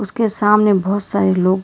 के सामने बहुत सारे लोग--